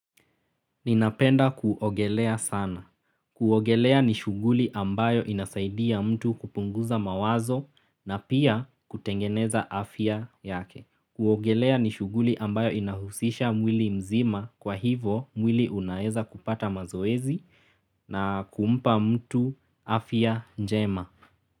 Ninapenda kuogelea sana. Kuogelea ni shughuli ambayo inasaidia mtu kupunguza mawazo na pia kutengeneza afya yake. Kuogelea ni shughuli ambayo inahusisha mwili mzima kwa hivo mwili unaeza kupata mazoezi na kumpa mtu afya njema.